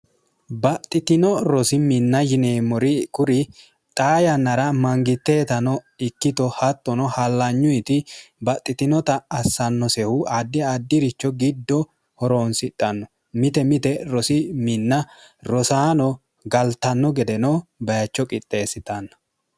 baxxitino rosi minna yineemmori kuri xaa yannara mangitteetano ikkito hattono hallanyuyiti baxxitinota assannosehu addi addi'richo giddo horoonsidhanno mite mite rosi minna rosaano galtanno gedeno bayicho qixxeessitanna